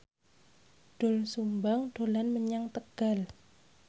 Doel Sumbang dolan menyang Tegal